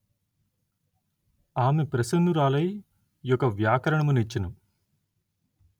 ఆమె ప్రసన్నురాలై యొక వ్యాకరణము నిచ్చెను